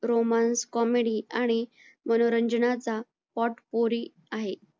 romance comedy आणि मनोरंजनाचा potcory आहे